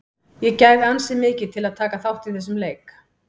Ég gæfi ansi mikið til að taka þátt í þessum leik.